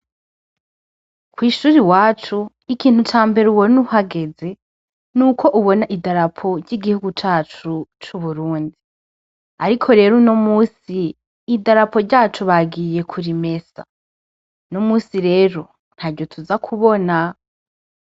Kwishure iwacu ikintu cambere ubona uhageze nuko ubona idarapo ry’igihugu cacu c’Uburundi. Ariko rero unomunsi idarapo ryacu bagiye kurimesa, numunsi rero ntaryo tuzakubona.